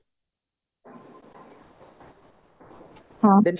ହଁ